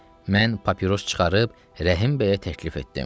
Mən papiros çıxarıb Rəhimbəyə təklif etdim.